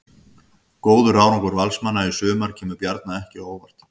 Góður árangur Valsmanna í sumar kemur Bjarna ekki á óvart.